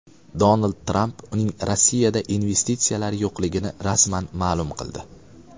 Donald Tramp uning Rossiyada investitsiyalari yo‘qligini rasman ma’lum qildi.